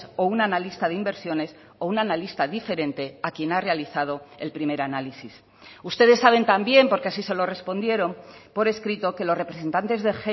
o un analista de inversiones o un analista diferente a quien ha realizado el primer análisis ustedes saben también porque así se lo respondieron por escrito que los representantes de